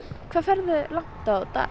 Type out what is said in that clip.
hvað ferðu langt á dag